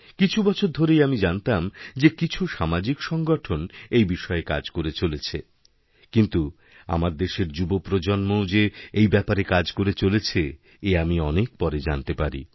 কিছু বছর ধরেই আমি জানতাম যে কিছুসামাজিক সংগঠন এই বিষয়ে কাজ করে চলেছে কিন্তু আমার দেশের যুবপ্রজন্মও যে এইব্যাপারে কাজ করে চলেছে এ আমি অনেক পরে জানতে পারি